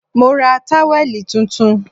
Mo ra táwẹ̀lì tuntun